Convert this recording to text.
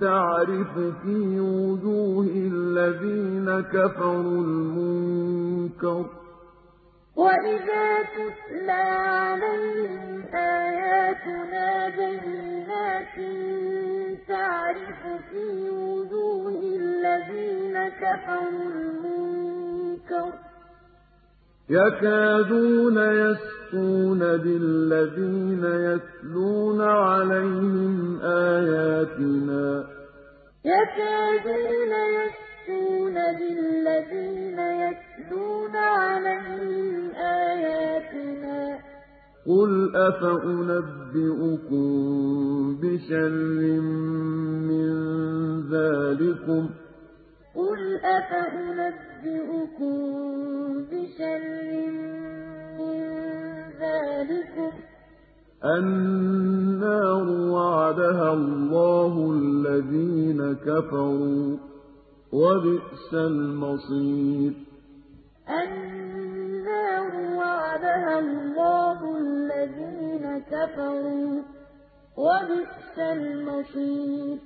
تَعْرِفُ فِي وُجُوهِ الَّذِينَ كَفَرُوا الْمُنكَرَ ۖ يَكَادُونَ يَسْطُونَ بِالَّذِينَ يَتْلُونَ عَلَيْهِمْ آيَاتِنَا ۗ قُلْ أَفَأُنَبِّئُكُم بِشَرٍّ مِّن ذَٰلِكُمُ ۗ النَّارُ وَعَدَهَا اللَّهُ الَّذِينَ كَفَرُوا ۖ وَبِئْسَ الْمَصِيرُ وَإِذَا تُتْلَىٰ عَلَيْهِمْ آيَاتُنَا بَيِّنَاتٍ تَعْرِفُ فِي وُجُوهِ الَّذِينَ كَفَرُوا الْمُنكَرَ ۖ يَكَادُونَ يَسْطُونَ بِالَّذِينَ يَتْلُونَ عَلَيْهِمْ آيَاتِنَا ۗ قُلْ أَفَأُنَبِّئُكُم بِشَرٍّ مِّن ذَٰلِكُمُ ۗ النَّارُ وَعَدَهَا اللَّهُ الَّذِينَ كَفَرُوا ۖ وَبِئْسَ الْمَصِيرُ